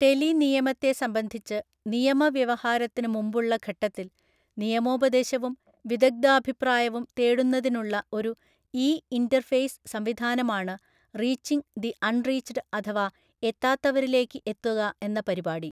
Tele നിയമത്തെ സംബന്ധിച്ച് നിയമ വ്യവഹാരത്തിന് മുമ്പുള്ള ഘട്ടത്തിൽ നിയമോപദേശവും വിദഗ്ദ്ധാഭിപ്രായവും തേടുന്നതിനുള്ള ഒരു ഇ ഇന്റർഫേസ് സംവിധാനമാണ് റീച്ചിംഗ് ദി അൺറീച്ചഡ് അഥവാ എത്താത്തവരിലേക്ക് എത്തുക എന്ന പരിപാടി.